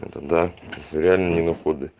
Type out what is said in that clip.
да за реальные доходы